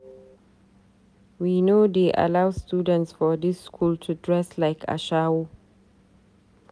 We no dey allow students for dis skool to dress like ashawo.